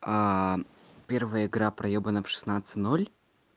а первая игра проебана в шестнадцать ноль